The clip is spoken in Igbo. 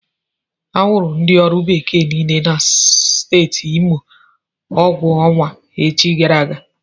Akwụrụ ndi ọrụ bekee niile nọ na Steeti Imo ụgwọ ọnwa echi gara aga.